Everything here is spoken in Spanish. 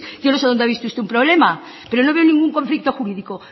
yo no sé donde ha visto usted un problema pero no veo ningún conflicto jurídico